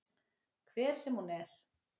Hver sem hún er.